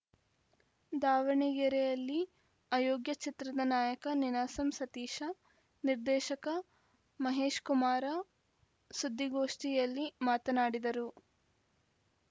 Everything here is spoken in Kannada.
ದಾವಣಗೆರೆಯಲ್ಲಿ ಅಯೋಗ್ಯ ಚಿತ್ರದ ನಾಯಕ ನೀನಾಸಂ ಸತೀಶ ನಿರ್ದೇಶಕ ಮಹೇಶಕುಮಾರ ಸುದ್ದಿಗೋಷ್ಟಿಯಲ್ಲಿ ಮಾತನಾಡಿದರು